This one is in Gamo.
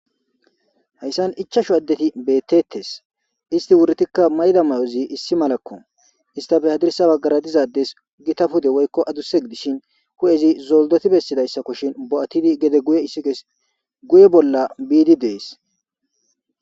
Hayssan ichchachu addeti beetetees istti wureetikka mayida mayozi issi malako istappe hadirssa bagaara diza addes Gita pude woykko aduuse gidishin hu'ezi zoldoti beesidaysakoshin bo'atidi gede guye ithikezi guye bolla biidi dees.